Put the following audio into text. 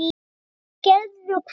Hverjir gerðu hvað?